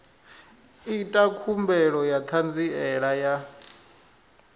ita khumbelo ya ṱhanziela ya